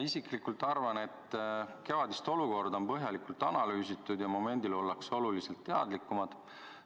Isiklikult arvan, et kevadist olukorda on põhjalikult analüüsitud ja momendil ollakse oluliselt teadlikumad.